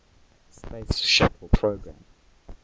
space shuttle program